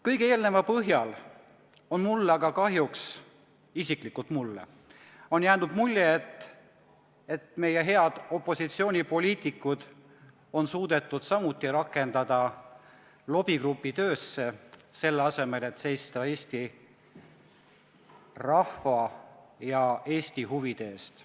Kõige eelneva põhjal on aga mulle isiklikult jäänud kahjuks mulje, et meie head opositsioonipoliitikud on samuti suudetud rakendada lobigrupi töösse, selle asemel et seista Eesti rahva ja Eesti huvide eest.